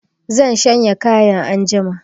Zan shanya kayan anjima